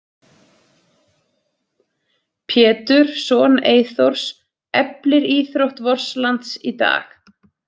Pétur, son Eyþórs, eflir íþrótt vors lands í dag.